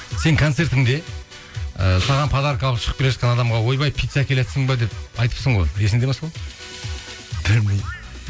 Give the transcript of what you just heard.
сен концертіңде ы саған подарка алып шығып келе жатқан адамға ойбай пицца әкелатсың ба деп айтыпсың ғой есіңде ма сол білмеймін